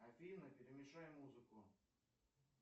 афина перемешай музыку